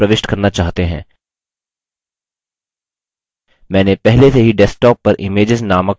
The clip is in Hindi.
मैंने पहले से ही desktop पर images named folder में कुछ images का संचय किया है